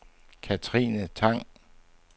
Katrine Tang